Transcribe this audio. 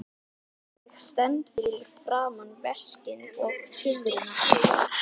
Og ég stend fyrir framan veskin og tuðrurnar.